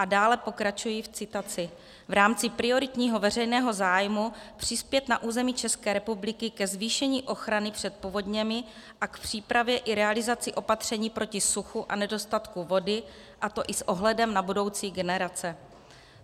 A dále pokračuji v citaci: V rámci prioritního veřejného zájmu přispět na území České republiky ke zvýšení ochrany před povodněmi a k přípravě i realizaci opatření proti suchu a nedostatku vody, a to i s ohledem na budoucí generace.